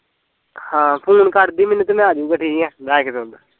ਹਾਂ ਫੂਨ ਕਰਦੀ ਮੈਨੂੰ ਤੇ ਮੈਂ ਆਜੁਗਾ ਠੀਕ ਐ